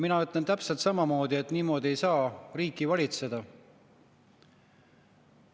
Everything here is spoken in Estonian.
" Mina ütlen täpselt samamoodi, et niimoodi ei saa riiki valitseda.